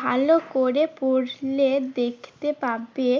ভালো করে পড়লে দেখতে পাবে